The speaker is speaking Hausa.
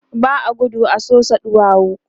ba a gudu a Sosa ɗuwawu